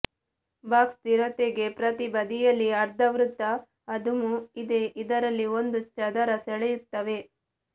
box ಸ್ಥಿರತೆಗೆ ಪ್ರತಿ ಬದಿಯಲ್ಲಿ ಅರ್ಧವೃತ್ತ ಅದುಮು ಇದೆ ಇದರಲ್ಲಿ ಒಂದು ಚದರ ಸೆಳೆಯುತ್ತವೆ